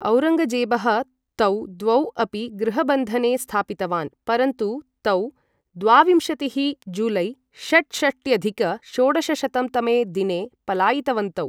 औरङ्गजेबः तौ द्वौ अपि गृहबन्धने स्थापितवान्, परन्तु तौ द्वाविंशतिः जुलै षट्षष्ट्यधिक षोडशशतं तमे दिने पलायितवन्तौ।